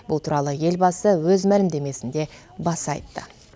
бұл туралы елбасы өз мәлімдемесінде баса айтты